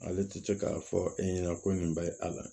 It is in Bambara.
Ale tɛ se k'a fɔ e ɲɛna ko nin bɛ a la